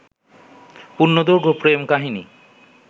পূর্ণদৈর্ঘ্য প্রেম কাহিনী